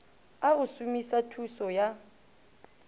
a go somisa thuso ya